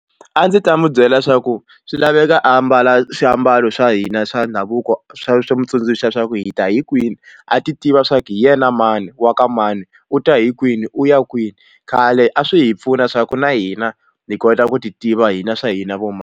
A ndzi ta n'wi byela swa ku swi laveka ambala swiambalo swa hina swa ndhavuko swa swi n'wi tsundzuxa leswaku hi ta hi kwini a ti tiva swa ku hi yena mani wa ka mani u ta hi kwini u ya kwini khale a swi hi pfuna swa ku na hina hi kota ku ti tiva hina swa hina vo mani.